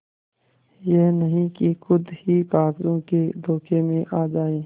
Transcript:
यह नहीं कि खुद ही कागजों के धोखे में आ जाए